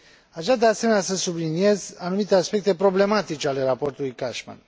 Aș vrea, de asemenea, să subliniez anumite aspecte problematice ale raportului Cashman.